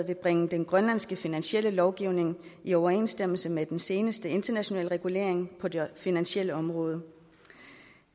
vil bringe den grønlandske finansielle lovgivning i overensstemmelse med den seneste internationale regulering på det finansielle område